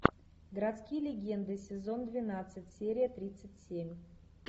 городские легенды сезон двенадцать серия тридцать семь